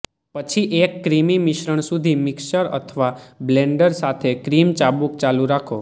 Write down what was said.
પછી એક ક્રીમી મિશ્રણ સુધી મિક્સર અથવા બ્લેન્ડર સાથે ક્રીમ ચાબુક ચાલુ રાખો